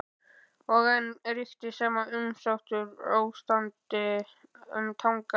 Og enn ríkti sama umsáturs- ástandið um Tangann.